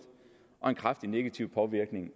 og med en kraftig negativ påvirkning